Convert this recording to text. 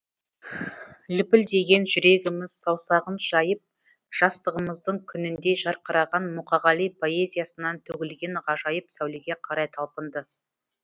лүпілдеген жүрегіміз саусағын жайып жастығымыздың күніндей жарқыраған мұқағали поэзиясынан төгілген ғажайып сәулеге қарай талпынды